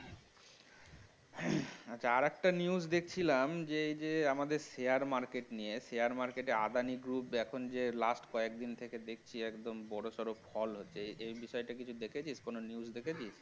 আচ্ছা আরেকটা news দেখছিলাম যে এই যে আমাদের share market নিয়ে share market এ আদানি group এখন যে last কয়েকদিন থেকে দেখছি একদম বড়োসড়ো fall হচ্ছে এই বিষয়টা দেখেছিস কোন news এ দেখেছিস?